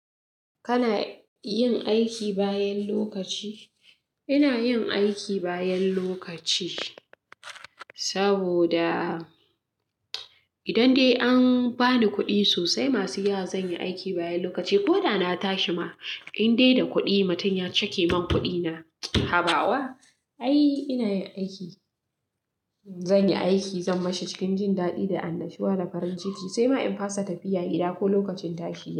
Kana yin aiki bayan lokaci? Ina yin aiki bayan lokaci, saboda idan dai an bani kuɗi sosai, masu yawa zan yi aiki bayan lokaci. Ko da na tashi ma, in dai da kuɗi, mutun ya cake min kuɗina. Haba wa? Ai, ina yin aiki. Zan yi aiki, zan mashi cikin jin daɗi da annashuwa da farin ciki, sai ma in fasa tafiya gida ko lokacin tashi.